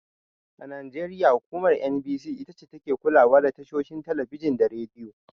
A Najeriya hukumar NBC itace take kulawa da tashoshin Talabijin da Radiyo.